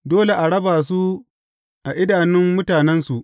Dole a raba su a idanun mutanensu.